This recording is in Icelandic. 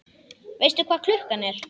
Veistu hvað klukkan er?